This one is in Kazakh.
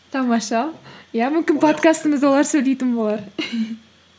тамаша иә олар сөйлейтін болар